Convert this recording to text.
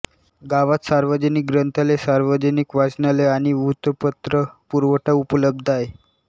गावात सार्वजनिक ग्रंथालय सार्वजनिक वाचनालय आणि वृत्तपत्र पुरवठा उपलब्ध आहे